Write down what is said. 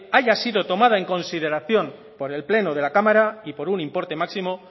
haya sido tomada en consideración por el pleno de la cámara y por importe máximo